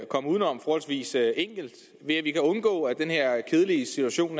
komme uden om forholdsvis enkelt ved at undgå at den her kedelige situation